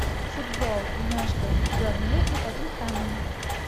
футбол между бернли и тоттенхэмом